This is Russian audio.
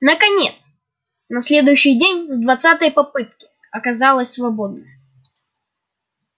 наконец на следующий день с двадцатой попытки оказалось свободно